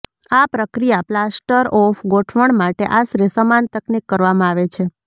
આ પ્રક્રિયા plaster of ગોઠવણ માટે આશરે સમાન તકનીક કરવામાં આવે છે